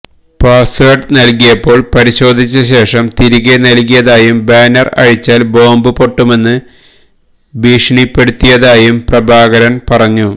password നൽകിയപ്പോൾ പരിശോധിച്ചശേഷം തിരികെ നൽകിയതായും ബാനർ അഴിച്ചാൽ ബോംബ് പൊട്ടുമെന്ന് ഭീഷണിപ്പെടുത്തിയതായും പ്രഭാകരൻ പറഞ്ഞു